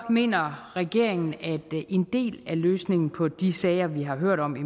mener regeringen at en del af løsningen på de sager vi har hørt om i